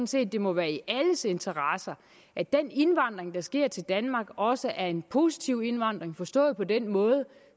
set det må være i alles interesse at den indvandring der sker til danmark også er en positiv indvandring forstået på den måde